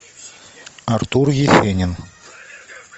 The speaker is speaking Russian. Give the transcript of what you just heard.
артур есенин